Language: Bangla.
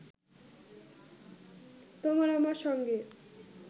তোমার আমার সঙ্গে